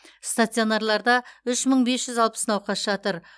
стационарларда үш мың бес жүз алпыс науқас жатыр